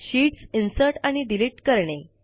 sheets insert आणि Delete160 करणे